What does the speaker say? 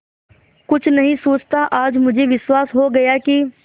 कुछ नहीं सूझता आज मुझे विश्वास हो गया कि